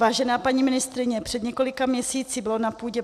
Vážená paní ministryně, před několika měsíci bylo na půdě